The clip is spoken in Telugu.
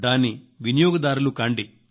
దాని వినియోగదారులు కండి